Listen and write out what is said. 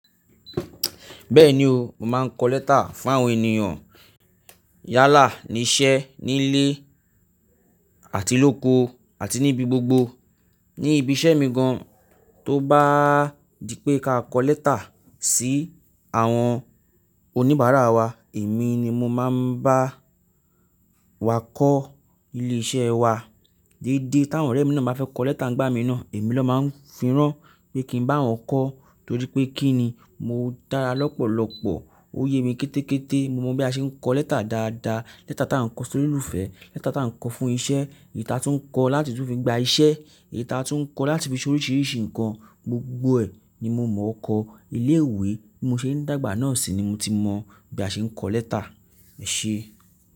Bẹ́ẹ̀ni o, mo máa ń kọ lẹ́tà fún àwọn ènìyàn. Yálà ní iṣẹ́, nílé àti lóko àti níbi gbogbo. Ní ibi iṣẹ́ mi gan, tó bá di pé ká kọ lẹ́tà sí àwọn oníbàárà wa, èmi ni mo máa ń bá wa kọ ilé iṣẹ́ wa. Dídé tí àwọn ọ̀rẹ́ mi náà bá fẹ́ kọ lẹ́tà ń gbá mi náà, èmi ló máa ń firán pé kí n bá wọn kọ. Torí pé kí ni? Mo dára lọ́pọ̀lọ́pọ̀, ó yé mi kété kété. Mo mọ bí a ṣe ń kọ lẹ́tà dáadáa. Lẹ́tà tí a ń kọ sórí ìlúfẹ́, lẹ́tà tí a ń kọ fún iṣẹ́, èyí tí a tún ń kọ láti tún fi gba iṣẹ́, èyí tí a tún ń kọ láti fi ṣe oríṣìíríṣìí ǹkan, gbogbo ẹ ni mo mọ ọkọ. Ilé ìwé tí mo ṣe ń dàgbà náà sì ni mo ti mọ bí a ṣe ń kọ lẹ́tà. Ṣé?